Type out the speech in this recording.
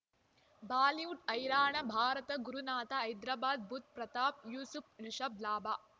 Bollywood ಹೈರಾಣ ಭಾರತ ಗುರುನಾಥ ಹೈದರಾಬಾದ್ ಬುಧ್ ಪ್ರತಾಪ್ ಯೂಸುಫ್ ರಿಷಬ್ ಲಾಭ